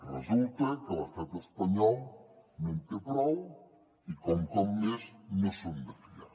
resulta que l’estat espanyol no en té prou i que un cop més no són de fiar